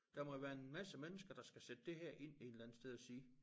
Der må jo være en masse mennesker der skal sætte det her ind en eller anden ting og sige